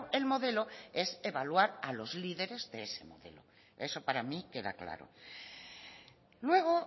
el modelo es evaluar a los líderes de ese modelo eso para mí queda claro luego